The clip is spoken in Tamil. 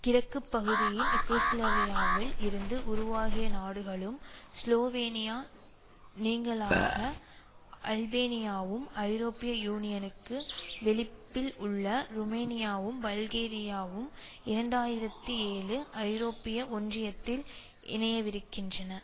கிழக்கு பகுதியின் யூகிஸ்லவியாவில் இருந்து உருவாகிய நாடுகளும் ஸ்லோவேனியா நீங்கலாக அல்பேனியாவும் ஐரோப்பிய யூனியனுக்கு வெளிப்பில் உள்ள ருமேனியாவும் பல்கேரியாவும் இரண்டாயிரத்தி ஏழு ஐரோப்பிய ஒன்றியத்தில் இணையவிருக்கின்றன